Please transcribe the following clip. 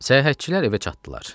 Səyahətçilər evə çatdılar.